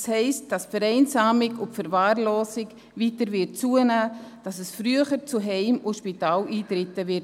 Das heisst, dass die Vereinsamung und Verwahrlosung zunehmen wird, dass es früher zu Heim- und Spitaleintritten kommen wird.